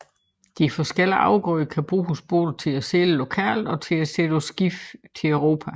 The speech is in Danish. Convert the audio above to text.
De forskellige afgrøder kan bruges både til at sælge lokalt og til at sætte på skib til Europa